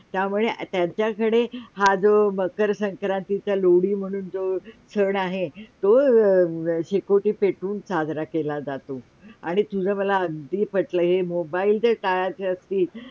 त्यामुळे त्यांच्याकडे हा जो मकर संक्रांती चा लोढी म्हणून जो सण आहे तो शेकोटी पेठवून साजरा केल्या जातो आणि तुझा मला अगदी पटलं हे MOBILE च्या काळात जास्ती